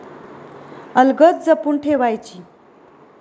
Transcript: अलगद जपून ठेवायची!